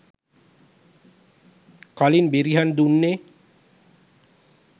කලින් බෙරිහන් දුන්නේ